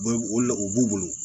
o la o b'u bolo